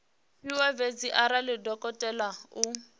fhiwa fhedzi arali dokotela o